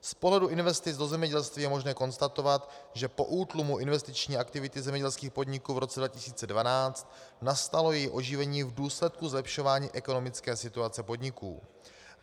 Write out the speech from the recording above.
Z pohledu investic do zemědělství je možné konstatovat, že po útlumu investiční aktivity zemědělských podniků v roce 2012 nastalo její oživení v důsledku zlepšování ekonomické situace podniků.